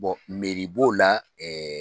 meri b'o la ɛ